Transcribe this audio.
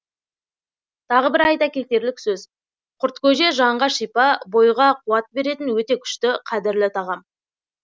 тағы бір айта кетерлік сөз құрткөже жанға шипа бойға қуат беретін өте күшті қадірлі тағам